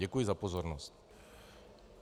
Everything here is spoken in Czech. Děkuji za pozornost.